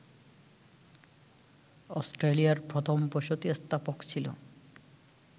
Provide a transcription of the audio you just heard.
অস্ট্রেলিয়ার প্রথম বসতিস্থাপক ছিল